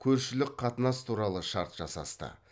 көршілік қатынас туралы шарт жасасты